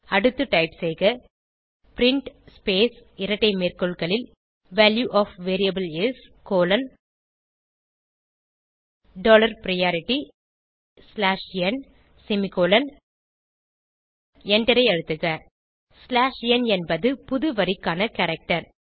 அடுத்து டைப் செய்க print space இரட்டை மேற்கோள்களில் value of variable is dollar priority slash n semicolon எண்டரை அழுத்துக ஸ்லாஷ் ந் என்பது புது வரிக்கான கேரக்டர்